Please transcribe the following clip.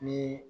Ni